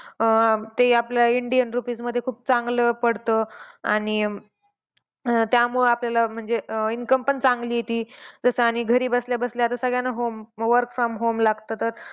अं ते आपल्या indian rupees मध्ये खूप चांगलं पडतं. आणि त्यामुळे आपल्याला अं म्हणजे income पण चांगली येते. आणि जसं घरी बसल्या-बसल्या सगळ्यांना home work from home लागतं तर,